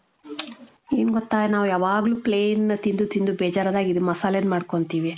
N ಗೊತ್ತಾ ನಾವ್ ಯಾವಾಗಲು plain ತಿಂದು ತಿಂದು ಬೇಜಾರ್ ಅದಾಗ ಇದು ಮಸಲೆದ್ ಮದ್ಕೊಂಡ್ತಿವಿ .